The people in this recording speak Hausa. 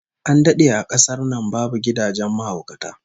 An dade a kasar nan babu gidajen mahaukata